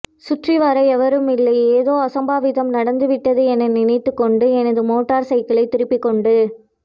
சுற்றிவர எவரும் இல்லை ஏதோ அசம்பாவிதம் நடந்துவிட்டது என நினைத்துக்கொண்டு எனது மோட்டார் சைக்கிளை திருப்பிக்கொண்டு